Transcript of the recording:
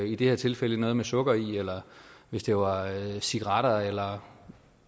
i det her tilfælde noget med sukker i eller hvis det var cigaretter eller